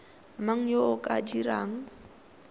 mang yo o ka dirang